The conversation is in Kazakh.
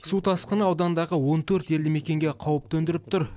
су тасқыны аудандағы он төрт елді мекенге қауіп төндіріп тұр